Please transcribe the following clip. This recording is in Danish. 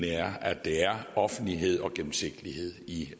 her at der er offentlighed og gennemsigtighed i